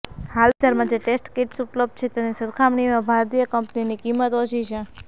હાલ બજારમાં જે ટેસ્ટ કિટ્સ ઉપલબ્ધ છે એની સરખામણીમાં ભારતીય કંપનીની કિંમત ઓછી છે